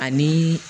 Ani